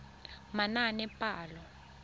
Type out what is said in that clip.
manaanepalo